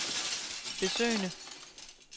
besøgende